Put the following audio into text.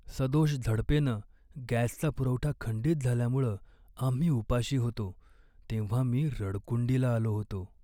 सदोष झडपेनं गॅसचा पुरवठा खंडित झाल्यामुळं आम्ही उपाशी होतो तेव्हा मी रडकुंडीला आलो होतो.